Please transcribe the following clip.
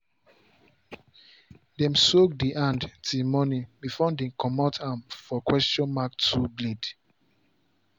dem soak the hand till morning before dem come out am for question mark tool blade.